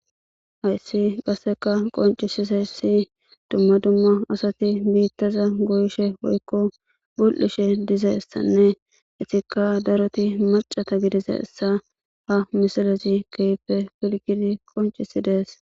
hayssi qasseka qoncisisayssi dumma dumma asati biittaza goyishe woykko bul7ishe diza issanne etika daroti macata gidisa issa ha misalezi kehipe pilgidi qoncisi dees